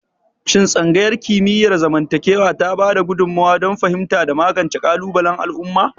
Shin Tsangayar Kimiyyar zamantakewa ta ba da gudummawa don fahimta da magance kalubalen al'umma?